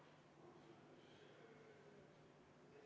Palun võtta seisukoht ja hääletada!